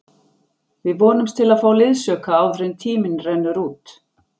Við vonumst til að fá liðsauka áður en tíminn rennur út.